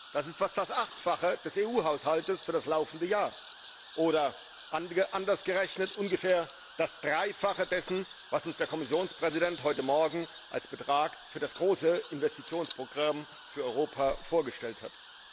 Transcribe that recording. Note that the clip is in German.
Das ist fast das Achtfache des EU Haushalts für das laufende Jahr oder anders gerechnet ungefähr das Dreifache dessen, was uns der Kommissionspräsident heute Morgen als Betrag für das große Investitionsprogramm für Europa vorgestellt hat.